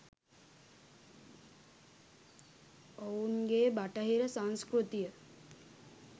ඔවූන් ගේ බටහිර සංස්කෘතිය